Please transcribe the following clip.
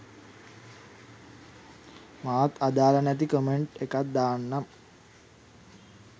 මාත් අදාල නැති කමෙන්ට් එකක් දාන්නම්